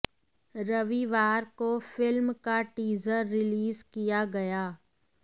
रविवार को फिल्म का टीजर रिलीज किया गया